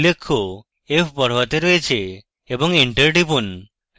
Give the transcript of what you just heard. উল্লেখ্য f বড়হাতে রয়েছে এবং এন্টার টিপুন